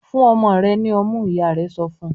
"Gun ọmọ rẹ̀ ní ọmú!" Ìyá rẹ̀ sọ fún.